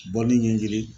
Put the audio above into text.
Bɔli ɲɛɲini